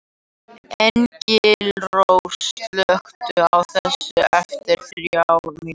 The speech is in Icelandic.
Engilrós, slökktu á þessu eftir þrjár mínútur.